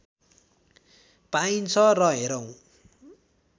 पाइन्छ रे हेरौँ